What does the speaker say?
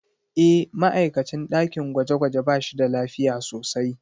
E, ma'aikacin ɗakin gwaje-gwaje ba shi da lafiya sosai.